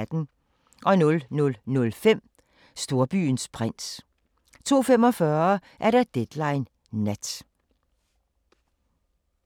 00:05: Storbyens prins 02:45: Deadline Nat